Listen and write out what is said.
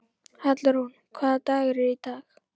Hallrún, hvaða dagur er í dag?